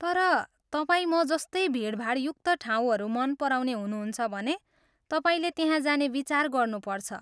तर तपाईँ म जस्तै भिडभाडयुक्त ठाउँहरू मन पराउने हुनुहुन्छ भने, तपाईँले त्यहाँ जाने विचार गर्नुपर्छ।